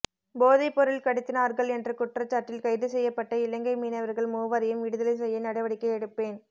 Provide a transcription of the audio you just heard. போதைப் பொருள் கடத்தினார்கள் என்ற குற்றச்சாட்டில் கைது செய்யப்பட்ட இலங்கை மீனவர்கள் மூவரையும் விடுதலை செய்ய நடவடிக்கை எடுப்பேன்